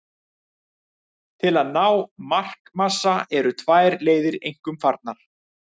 Til að ná markmassa eru tvær leiðir einkum farnar.